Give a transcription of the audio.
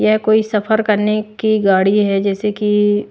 या कोई सफर करने की गाड़ी है जैसे कि--